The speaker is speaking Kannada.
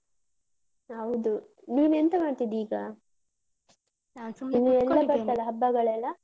ಹೌದು ನೀನೆಂತ ಮಾಡ್ತಿದ್ದಿ ಈಗ? ಹಬ್ಬಗಳೆಲ್ಲ?